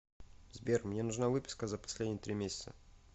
сбер мне нужна выписка за последние три месяца